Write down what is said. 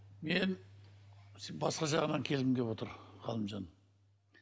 мен басқа жағынан келгім келіп отыр ғалымжан